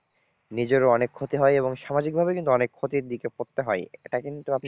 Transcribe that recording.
নিজেরও অনেক ক্ষতি হয় এবং সামাজিকভাবে কিন্তু অনেক ক্ষতির দিকে পড়তে হয় এটা কিন্তু আপনি